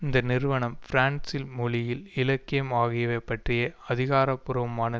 இந்த நிறுவனம் பிரான்சில் மொழியில் இலக்கியம் ஆகியவை பற்றிய அதிகாரபூர்வமான